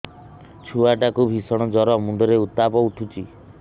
ଛୁଆ ଟା କୁ ଭିଷଣ ଜର ମୁଣ୍ଡ ରେ ଉତ୍ତାପ ଉଠୁଛି